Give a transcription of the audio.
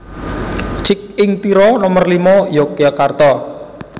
Cik Ing Tiro Nomer limo Yogyakarta